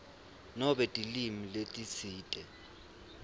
nobe tilwimi letitsite